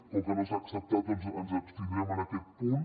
com que no s’ha acceptat doncs ens abstindrem en aquest punt